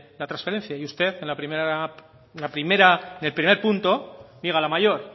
la transferencia y usted en el primer punto niega la mayor